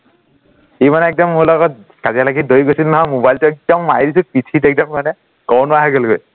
সি মানে একদম মোৰ লগত কাজিয়া লাগি দৌৰি গৈছিল নহয়, মোবাইলটো একদম মাৰি দিছো পিঠিত একদম মানে কব নোৱাৰা হৈ গলগৈ